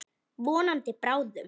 Vonandi bráðum.